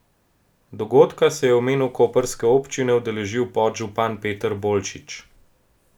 Dogodka se je v imenu koprske občine udeležil podžupan Peter Bolčič.